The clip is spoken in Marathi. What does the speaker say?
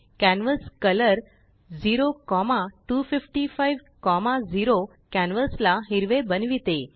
कॅन्व्हास्कलर 02550कॅनवासलाहिरवे बनविते